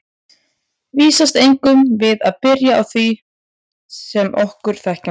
Vísast eigum við að byrja á því sem er okkur þekkjanlegt.